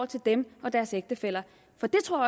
til dem og deres ægtefæller for det tror